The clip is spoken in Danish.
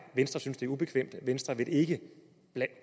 venstre synes det ubekvemt venstre vil ikke